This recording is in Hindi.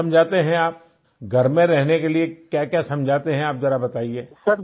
उसमे क्या समझाते हैं आप घर में रहने के लिए क्याक्या समझाते हैं आप जरा बताइये